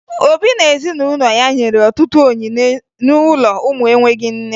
Obi na ezinụlọ ya nyere ọtụtụ onyinye n'ụlọ ụmụ enweghi nne